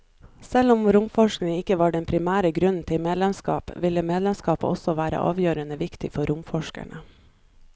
Selv om romforskning ikke var den primære grunnen til medlemskap, ville medlemskapet også være avgjørende viktig for romforskerne.